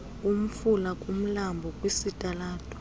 kumfula kumlambo kwisitalato